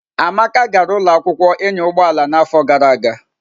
Amaka gara ụlọ akwụkwọ ịnya ụgbọ ala n'afọ gara aga.